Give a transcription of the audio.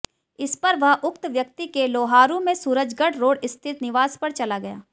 इस पर वह उक्त व्यक्ति के लोहारू में सुरजगढ़ रोड स्थित निवास पर चला गया